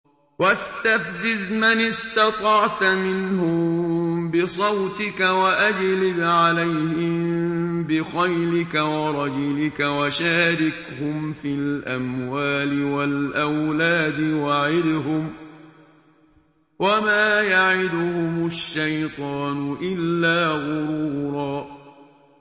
وَاسْتَفْزِزْ مَنِ اسْتَطَعْتَ مِنْهُم بِصَوْتِكَ وَأَجْلِبْ عَلَيْهِم بِخَيْلِكَ وَرَجِلِكَ وَشَارِكْهُمْ فِي الْأَمْوَالِ وَالْأَوْلَادِ وَعِدْهُمْ ۚ وَمَا يَعِدُهُمُ الشَّيْطَانُ إِلَّا غُرُورًا